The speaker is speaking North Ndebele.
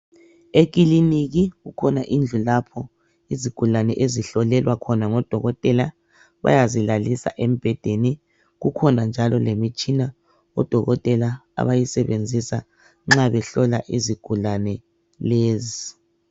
Ekiliniki kukhona indlu lapho izigulane ezihlolelwa khona ngodokotela bayazilalisa embhedeni. Kukhona njalo lemitshina odokotela abayisebenzisa nxa behlola izigulane lezi.